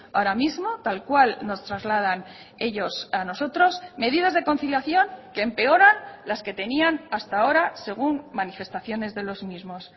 ahora mismo tal cual nos trasladan ellos a nosotros medidas de conciliación que empeoran las que tenían hasta ahora según manifestaciones de los mismos